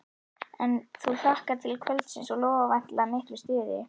En þú hlakkar til kvöldsins og lofar væntanlega miklu stuði?